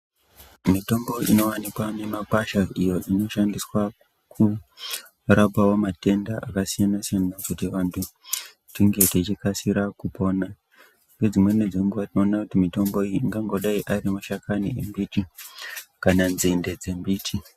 Mitombo inovanikwa mumakwasha iyo inoshandiswa kurapavo matenda akasiyana-siyana, kuti vantu tinge tichikasira kupona. Nedzimweni dzenguva tinona kuti mitombo iyi ingangodai ari mashakani embiti kana nzinde dzembiti.